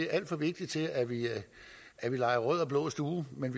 er alt for vigtigt til at vi leger rød og blå stue men